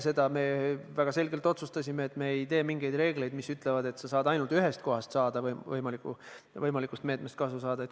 Ja me väga selgelt otsustasime, et me ei tee mingeid reegleid, mis ütlevad, et sa saad ainult ühest kohast võimalikust meetmest kasu saada.